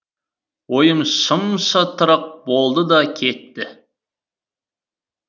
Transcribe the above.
ойым шым шытырық болды да кетті